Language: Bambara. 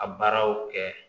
A baaraw kɛ